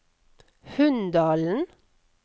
Hunndalen